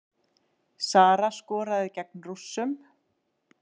Sara skoraði gegn Rússunum